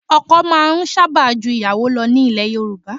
Ọkọ máa ń sábà ju ìyàwó lọ nílẹ̀ Yorùbá.